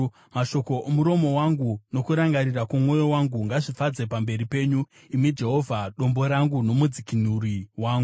Mashoko omuromo wangu nokurangarira kwomwoyo wangu ngazvifadze pamberi penyu, imi Jehovha, Dombo rangu noMudzikinuri wangu.